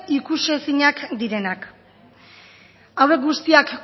ikusiezinak direnak hauek guztiak